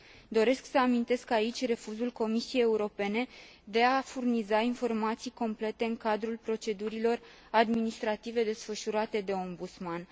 Doresc să amintesc aici refuzul Comisiei Europene de a furniza informații complete în cadrul procedurilor administrative desfășurate de Ombudsman.